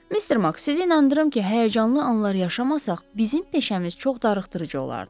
Mister Maks, sizin inandırım ki, həyəcanlı anlar yaşamasaq, bizim peşəmiz çox darıxdırıcı olardı.